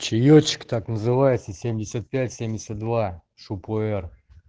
чёлочек так называется семьдесят пять семьдесят два шу пуэр